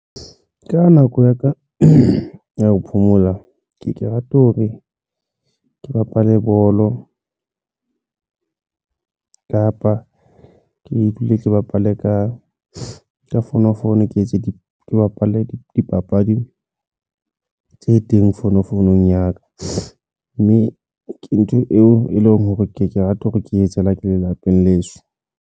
Ka nako ya ka ya ho phomola ke ke rata hore ke bapale bolo, kapa ke dule ke bapale ka fonofono, ke etse di bapalle dipapadi tse teng fono founung ya ka mme ke ntho eo e leng hore ke rata hore ke etsahalang ke lelapeng leso.